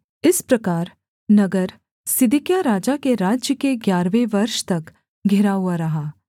इस प्रकार नगर सिदकिय्याह राजा के राज्य के ग्यारहवें वर्ष तक घिरा हुआ रहा